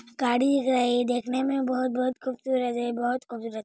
घडी हे देखनेमें बहुत कूप कूप सूरज हे --